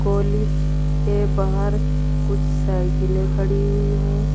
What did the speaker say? College के बाहर कुछ साइकिले खड़ी हुई है।